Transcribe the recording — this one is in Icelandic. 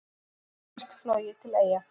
Ekkert flogið til Eyja